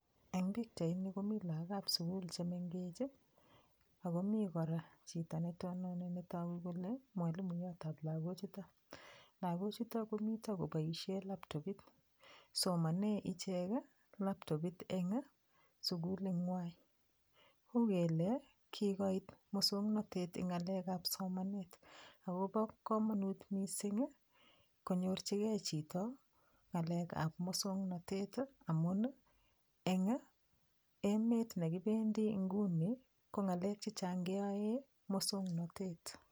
Eng' pikchaini komi lakokab sukul chemengech akomi kora chito netononi netoku kole mwalimuyotab lakochuto lakochuto komi koboishe laptopit somone ichek laptopit eng' sukuling'wai uu kele kikoit muswong'natet eng' ng'alekab somanet akobo komonut mising' konyorchigei chito ng'alekab muswong'natet amun eng' emet nekibendi nguni ko ng'alek chechang' keyoe muswong'natet